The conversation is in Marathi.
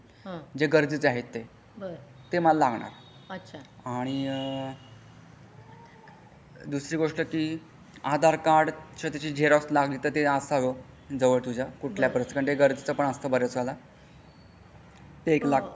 जे गरजेचे आहे ते ते मला लागणार आणि दुसरी गोष्ट कि आधार कार्ड तर त्याची झेरॉक्स लागेल ते असावा जवळ तुझा कुठल्या पण परिथितीती कारण ते गरजेचं पण असता बरेच वेळेला. ते एक लागत.